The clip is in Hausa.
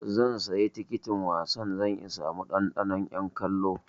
Zan sayi tikitin wasan don in sami ɗanɗanon 'yan kallo.